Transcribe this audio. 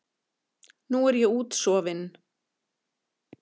Nú er ég útsofin.